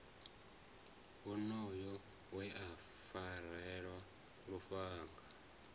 wonoyo we a farelwa lufhanga